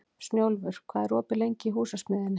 Snjólfur, hvað er opið lengi í Húsasmiðjunni?